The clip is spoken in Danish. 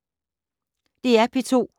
DR P2